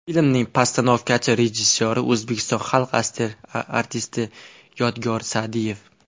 Filmning postanovkachi rejissyori O‘zbekiston xalq artisti Yodgor Sa’diev.